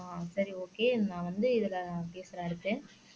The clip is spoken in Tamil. அஹ் சரி ஒகே நீங்க வந்து இதுல பேசுறேன் அடுத்து